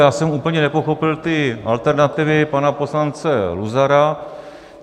Já jsem úplně nepochopil ty alternativy pana poslance Luzara.